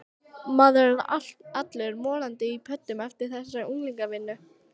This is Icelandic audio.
Maður er allur morandi í pöddum eftir þessa unglingavinnu.